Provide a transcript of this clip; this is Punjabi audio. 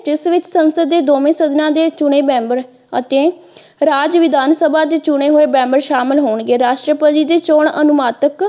ਇਸ ਵਿੱਚ ਸੰਸਦ ਦੇ ਦੋਵੇ ਸਦਨਾਂ ਦੇ ਚੁਣੇ ਮੈਂਬਰ ਅਤੇ ਰਾਜ ਵਿਧਾਨ ਸਭਾ ਦੇ ਚੁਣੇ ਹੋਏ ਮੈਂਬਰ ਸ਼ਾਮਿਲ ਹੋਣਗੇ ਰਾਸ਼ਟਰਪਤੀ ਦੇ ਚੋਣ ਅਨੁਮਾਤਿਕ।